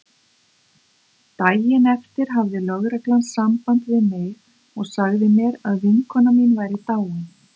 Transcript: Daginn eftir hafði lögreglan samband við mig og sagði mér að vinkona mín væri dáin.